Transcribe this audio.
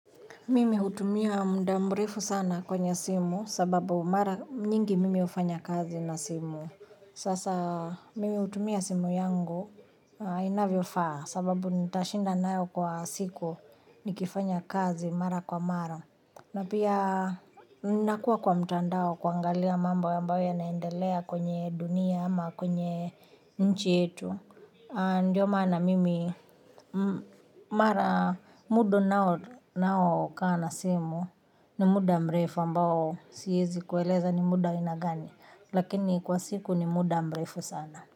Mimi hutumia muda mrefu sana kwenye simu sababu mara nyingi mimi hufanya kazi na simu. Sasa mimi hutumia simu yangu inavyofaa sababu nitashinda nayo kwa siku nikifanya kazi mara kwa mara. Na pia nakuwa kwa mtandao kuangalia mamba ambayo yanaendelea kwenye dunia ama kwenye nchi yetu, ndiyo maana mimi mara muda ninao kaa na simu ni muda mrefu ambao siezi kueleza ni muda ina gani. Lakini kwa siku ni muda mrefu sana.